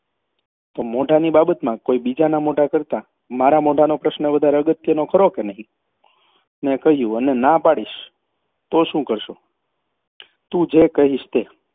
તો મોઢાની બાબતમાં કોઈ બીજાના મોઢા કરતાં મારા મોઢાનો પ્રશ્ન વધારે અગત્યનો ખરો કે નહીં મેં કહ્યું અને ના પાડીશ તો શું કરશો તું જે કહીશ તે